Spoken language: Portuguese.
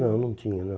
Não, não tinha, não.